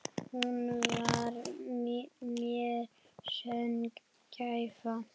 Hún var mér sönn gæfa.